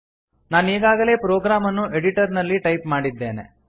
ನಾನೀಗಾಗಲೇ program ಅನ್ನು editor ನಲ್ಲಿ type ಮಾಡಿದ್ದೇನೆ